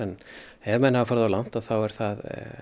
ef menn hafa farið of langt þá er það